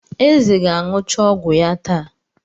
Eze ga-aṅụcha ọgwụ ya taa.